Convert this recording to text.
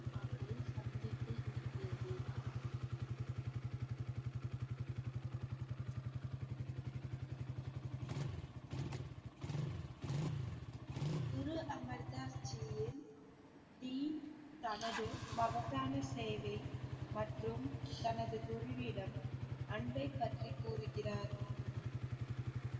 குரு அமர்தாஸ் ஜியின் ஜி தனது மகத்தான சேவை மற்றும் தனது குருவிடம் அன்பை பற்றி கூறுகிறார்